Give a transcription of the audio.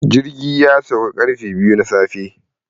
Jirgin ya sauka karfe biyu na safe